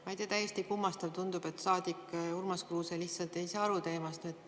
Ma ei tea, täiesti kummastav tundub, et saadik Urmas Kruuse lihtsalt ei saa teemast aru.